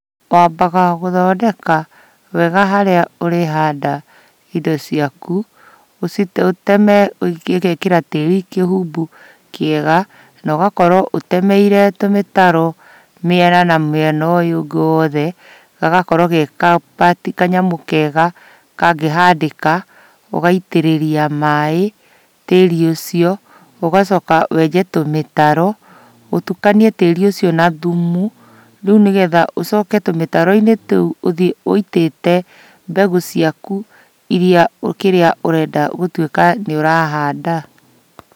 Wabaga gũthondeka wega harĩa ũrĩhanda indo ciaku, ũciteme ũgekĩra tĩri kĩhumbu kĩega na ũgakorwo ũtemeire tũmĩtaro miena na miena ũyũ ũngĩ wothe gagakorwo ge ga part kanyamũ kega kangĩhandĩka ũgaitĩrĩria maaĩ tĩri ũcio, ũgacoka wenje tũmĩtaro, ũtukanie tĩri ũcio na thũmũ, rĩu nĩgetha ũcoke tũmĩtaro-inĩ tũu, ũthiĩ wĩitĩte mbegũ ciaku, iria kĩrĩa ũrenda gũtwĩka nĩ ũrahanda.